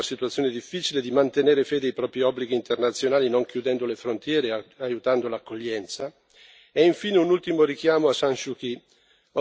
Chiediamo anche al Bangladesh che, comprendiamo, è in una situazione difficile, di mantenere fede ai propri obblighi internazionali non chiudendo le frontiere e aiutando l'accoglienza.